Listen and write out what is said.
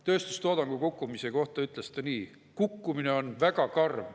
Tööstustoodangu kukkumise kohta ütles ta nii: "Kukkumine on väga karm.